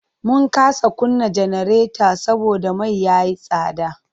Mun kasa kunna janareta saboda mai ya yi tsada.